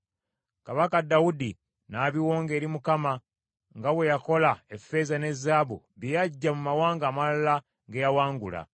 Kabaka Dawudi n’abiwonga eri Mukama , nga bwe yakola effeeza ne zaabu bye yaggya mu mawanga amalala ge yawangula.